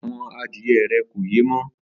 Àwo̩n adíye̩ rè̩ kò yé mó̩